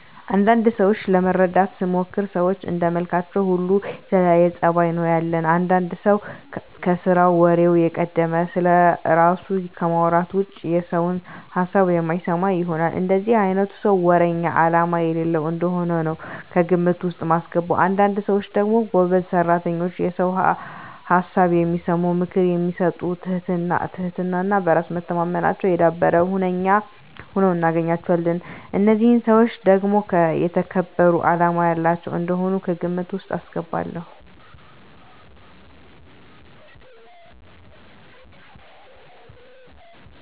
አንዳንድ ሰዎችን ለመረዳት ስሞክር ሰዎች እንደመልካችን ሁሉ የተለያየ ፀባይ ነው ያለን። አንዳንድ ሰው ከስራው ወሬው የቀደመ፣ ስለራሱ ከማውራት ውጭ የሰውን ሀሳብ የማይሰማ ይሆናል። እንደዚህ አይነቱን ሰው ወረኛ አላማ የሌለው እንደሆነ ነው ከግምት ውስጥ ማስገባው። አንዳንድ ሰዎች ደግሞ ጎበዝ ሰራተኛ፣ የሰውን ሀሳብ የሚሰሙ፣ ምክር የሚሰጡ ትህትና እና በራስ መተማመናቸው የዳበረ ሁነው እናገኛቸዋለን። እነዚህን ሰዎች ደግሞ የተከበሩ አላማ ያላቸው እንደሆኑ ከግምት ውስጥ አስገባለሁ።